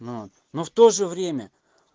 но но в тоже время